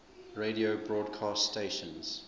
radio broadcast stations